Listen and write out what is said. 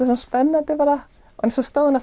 spennandi bara en svo stóð hún